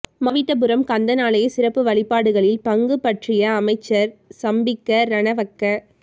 மாவிட்டபுரம் கந்தன் ஆலய சிறப்பு வழிபாடுகளில் பங்குபற்றிய அமைச்சர் சம்பிக்க ரணவக்க